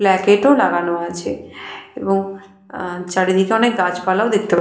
placate -ও লাগানো আছে এবং আ চারিদিকে অনেক গাছপালাও দেখতে পা --